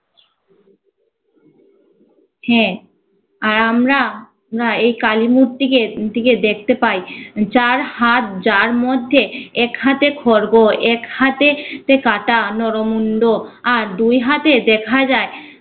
হ্যা, আর আমরা আমরা এই কালী মূর্তিকে মূর্তিকে দেখতে পাই যার হাত যার মধ্যে এক হাতে খর্গ, এক হাতে তে কাটা নরমুণ্ড আর দুই হাতে দেখা যায়